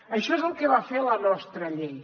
això és el que va fer la nostra llei